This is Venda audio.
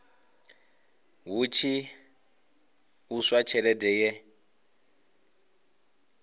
hu tshi ṱuswa tshelede ye